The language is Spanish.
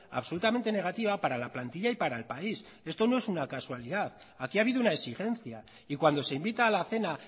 absolutamente negativa para la plantilla y para el país esto no es una casualidad aquí ha habido una exigencia y cuando se invita a la cena